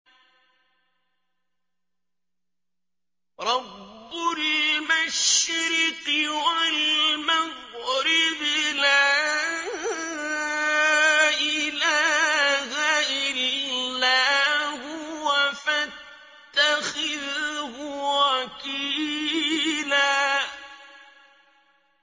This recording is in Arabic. رَّبُّ الْمَشْرِقِ وَالْمَغْرِبِ لَا إِلَٰهَ إِلَّا هُوَ فَاتَّخِذْهُ وَكِيلًا